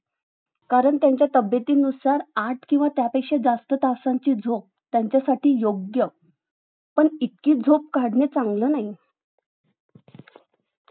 कारण त्याचा तब्येतीनुसार आठ किंवा त्याच्यापेक्षा जास्त तासाची झोप त्यांच्यासाठी योग्य पण इतकी झोप काढणं चांगली नाही